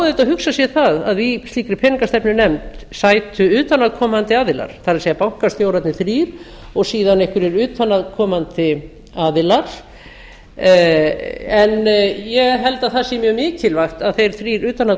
auðvitað hugsa sér það að í slíkri peningastefnunefnd sætu utan að koamndi aðilar það er bankastjórarnir þrír og síðan einhverjir utan að komandi aðilar en ég held að það sé mjög mikilvægt að þeir þrír utan að